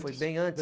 Foi bem antes?